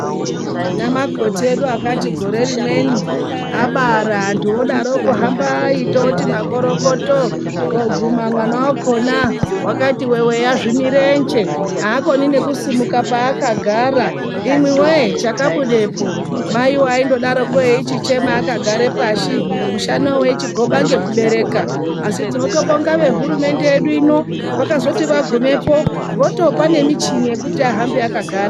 Tina Makoti edu akati gore rimweni abara antu otiwo kuhambai tioti makorokoto koguna mwana wakona akati weweya zvimurenje hakoni nekusimuka pakagara imwiwe chakabudapo. Mai aichingodaro echichema akagara pashi, mushana weichigoba nekubereka asi tinotobonga vehurumende yedu ino vakazoti vagumepo votopa ngemichini dzekuti ahambe akagara.